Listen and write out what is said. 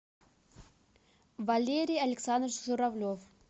валерий александрович журавлев